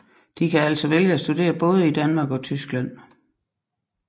De kan altså vælge at studere både i Danmark og Tyskland